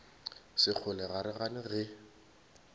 sekgole ga re gane ge